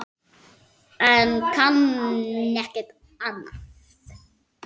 Ég kann ekkert annað.